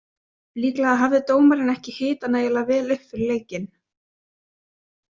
Líklega hafði dómarinn ekki hitað nægilega vel upp fyrir leikinn.